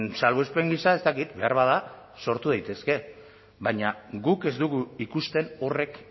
salbuespen gisa ez dakit beharbada sortu daitezke baina guk ez dugu ikusten horrek